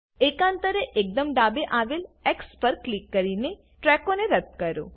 એકાંતરે એકદમ ડાબે આવેલ એક્સ પર ક્લિક કરીને ટ્રેકોને રદ્દ કરો